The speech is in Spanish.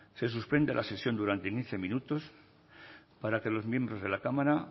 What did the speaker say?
se suspende la sesión durante quince minutos para que los miembros de la cámara